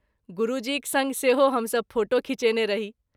गुरू जीक संग सेहो हम सभ फोटो खीचेने रही।